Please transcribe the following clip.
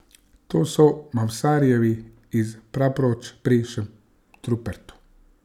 To so Mavsarjevi iz Praproč pri Šentrupertu.